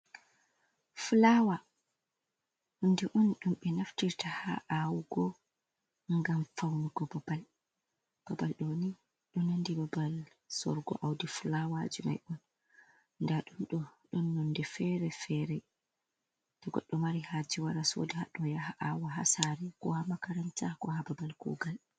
"Fulaawa" hundɗe on ɗum ɓe naftirta ha awugo ngam faunugo babal, babal ɗoni ɗo nandi babal sorugo audi fulaawa ji mai on nda ɗum nonde fere fere to goɗɗo mari haje wara soda haɗo yaha awa ha saare ko ha makaranta ko ha babal kugal.